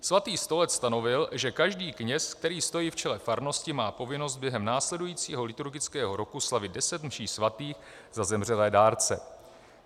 Svatý stolec stanovil, že každý kněz, který stojí v čele farnosti, má povinnost během následujícího liturgického roku slavit deset mší svatých za zemřelé dárce.